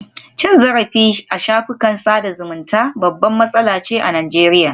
Cin zarafi a shafukan sada zumunta babbar matsala ce a Najeriya